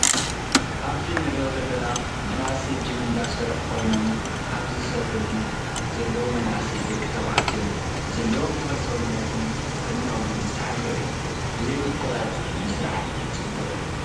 ኣብዚ እንሪኦ ዘለና መናእሰየ ጅም እንዳሰርሑ ኮይኖም ኣብዚ ዝሰርሑ ዘለው መናእሰይ ደቂ ተባዕትዮ ዘለዎም ተክሊ ሰውነትን ጥዕነኦምን ዝተሓለው እዩ፣ ብዘይ ምቁራፅ ምስራሕ ፅቡቅ እዩ።